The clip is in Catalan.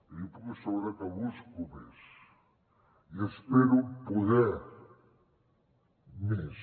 i li puc assegurar que busco més i espero poder més